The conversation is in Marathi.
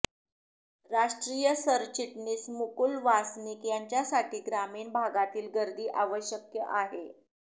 राष्ट्रीय सरचिटणीस मुकुल वासनिक यांच्यासाठी ग्रामीण भागातील गर्दी आवश्यक आहे